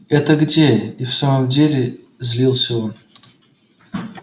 это где и в самом деле злился он